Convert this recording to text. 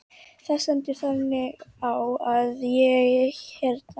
Það stendur þannig á að ég hérna.